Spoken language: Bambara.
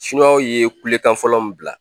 Sinuwaw ye kulekan fɔlɔ min bila.